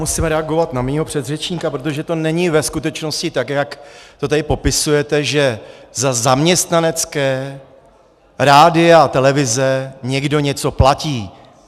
Musím reagovat na mého předřečníka, protože to není ve skutečnosti tak, jak to tady popisujete, že za zaměstnanecká rádia a televize někdo něco platí.